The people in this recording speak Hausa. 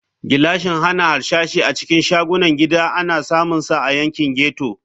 Gilashin hana harsashi a cikin shagunan gida ana samunsa a yankin ghetto.